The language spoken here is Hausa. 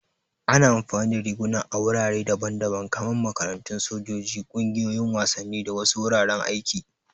Ana amfani da riguna a wurare daban-daban kamar makarantu, sojoji, ƙungiyoyin wasanni, da wasu wuraren aiki.